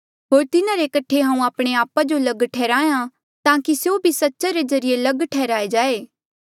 होर तिन्हारे कठे हांऊँ आपणे आपा जो लग ठैहराया ताकि स्यों भी सच्चा रे ज्रीए लग ठैहराये जाए